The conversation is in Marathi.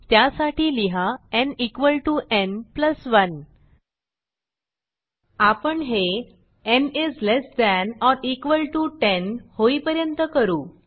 त्यासाठी लिहा n equal to n plus 1 आपण हे n is less than or equal to 10 होईपर्यंत करू